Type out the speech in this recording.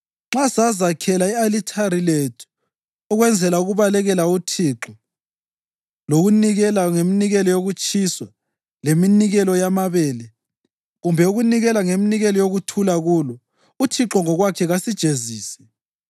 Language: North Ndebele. Nxa sazakhela i-alithari lethu ukwenzela ukubalekela uThixo lokunikela ngeminikelo yokutshiswa leminikelo yamabele, kumbe ukunikela ngeminikelo yokuthula kulo, uThixo ngokwakhe kasijezise.